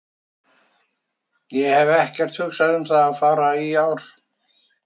Ég hef ekkert hugsað um að fara í ár.